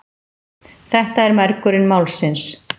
Þetta er mergurinn málsins!